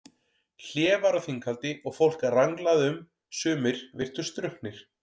Hlé var á þinghaldi og fólk ranglaði um, sumir virtust drukknir.